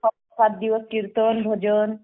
सात दिवस कीर्तन भजन